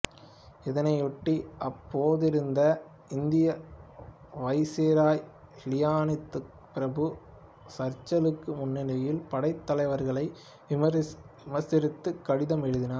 இதனையொட்டி அப்போதிருந்த இந்திய வைசிராய் லின்லித்கொ பிரபு சர்ச்சிலுக்கு முன்னணி படைத் தலைவர்களை விமரிசித்துக் கடிதம் எழுதினார்